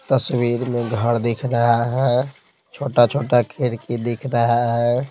तस्वीर में घर दिख रहा है छोटा-छोटा खिड़की दिख रहा है।